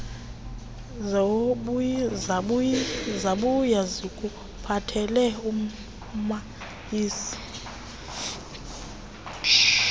zabuya zikuphathele usmayili